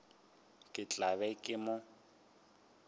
ke tla be ke mo